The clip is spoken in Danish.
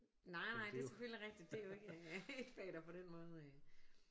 Nej nej det er selvfølgelig rigtigt det er jo ikke et fag der på den måde øh